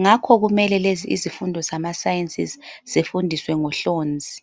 Ngakho kumele lezi izifundo zamaSciences zifundiswe ngohlonzi.